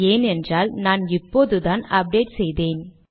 ஏன் என்றால் நான் இப்போதுதான் அப்டேட் செய்தேன்